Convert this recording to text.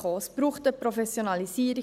Es braucht dort eine Professionalisierung.